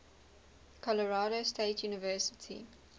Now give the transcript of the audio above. colorado state university